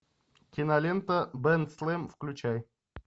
кинолента бен слэм включай